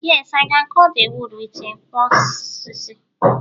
yes, I can cut the wood with a nkwo osisi